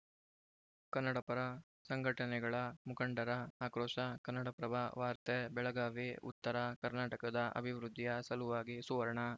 ಕನ್ನಡಪರ ಸಂಘಟನೆಗಳ ಮುಖಂಡರ ಆಕ್ರೋಶ ಕನ್ನಡಪ್ರಭ ವಾರ್ತೆ ಬೆಳಗಾವಿ ಉತ್ತರ ಕರ್ನಾಟಕದ ಅಭಿವೃದ್ಧಿಯ ಸಲುವಾಗಿ ಸುವರ್ಣ